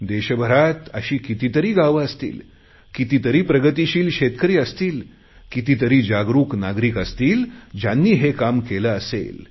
देशभरात अशी कितीतरी गावं असतील कितीतरी प्रगतीशील शेतकरी असतील कितीतरी जागरुक नागरिक असतील ज्यांनी हे काम केले असेल